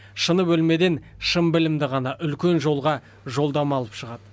шыны бөлмеден шын білімді ғана үлкен жолға жолдама алып шығады